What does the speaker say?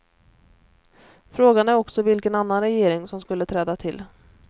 Frågan är också vilken annan regering som skulle träda till.